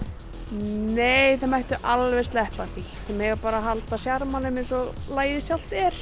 nei þeir mættu alveg sleppa því þeir mega bara halda sjarmanum eins og lagið sjálft er